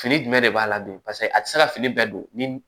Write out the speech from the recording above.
Fini jumɛn de b'a la dun paseke a ti se ka fini bɛɛ don